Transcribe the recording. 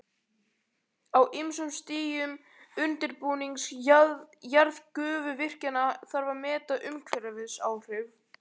Á ýmsum stigum undirbúnings jarðgufuvirkjana þarf að meta umhverfisáhrif.